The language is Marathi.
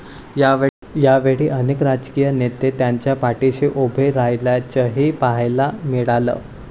यावेळी अनेक राजकीय नेते त्यांच्या पाठिशी उभे राहिल्याचंही पाहायला मिळालं.